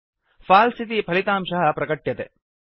फल्से इति फलितांशः प्रकट्यते